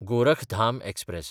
Gorakhdham express